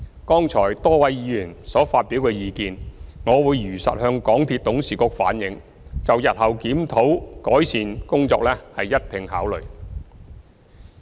剛才多位議員所發表的意見，我會如實向港鐵董事局反映，就日後檢討改善工作一併考慮。